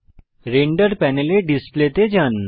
render প্যানেলে display তে যান